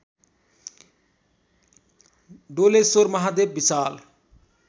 Doleshwar Mahadev Vishal